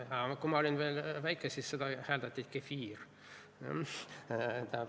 Kui ma olin veel väike, siis seda hääldati "kefiir".